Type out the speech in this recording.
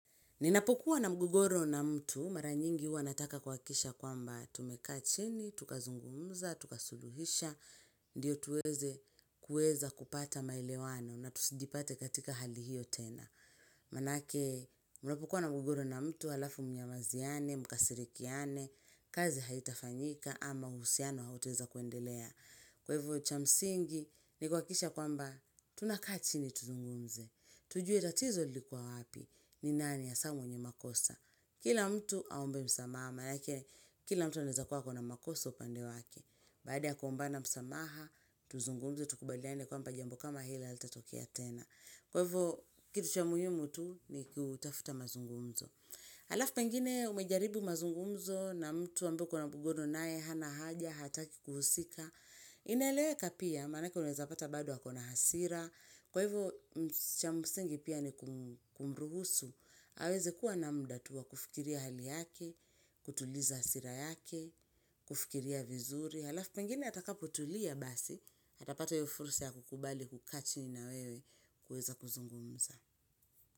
Ninapokuwa na mgogoro na mtu, mara nyingi hua nataka kuhakisha kwamba tumekaa chini, tukazungumza, tuka suluhisha, ndio tuweze kuweza kupata maelewano na tusijipate katika hali hiyo tena. Maanake, unapokuwa na mgogoro na mtu, alafu mnyamaziane, mkasirikiane, kazi haitafanyika ama uhusiano hautaeza kuendelea. Kwa hivo cha msingi ni kuhakikisha kwamba tunakaa chini tuzungumze. Tujue tatizo lilikuwa wapi ni nani hasa mwenye makosa. Kila mtu aombe msamaha maanake kila mtu anaeza kuwa ako makosa upande wake. Baada ya kuombana msamaha tuzungumze tukubaliane kwamba jambo kama hili halitatokea tena. Kwa hivo kitu cha muhimu tu ni kutafuta mazungumzo. Alafu pengine umejaribu mazungumzo na mtu ambaye uko na mgogoro naye hana haja hataki kuhusika. Inaeleweka pia, maanake unaweza pata baado ako na hasira, kwa hivyo cha msingi pia ni kum kumruhusu, aweze kuwa na mda tuwa kufikiria hali yake, kutuliza hasira yake, kufikiria vizuri, halafu pengine atakapotulia basi, atapata hiyo fursa ya kukubali kukaa chini na wewe kuweza kuzungumza.